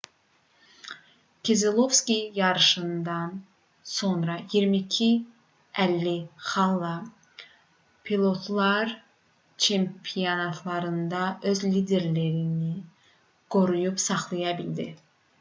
kezelovski yarışdan sonra 2250 xalla pilotlar çempionatında öz liderliyini qoruyub saxlaya bildi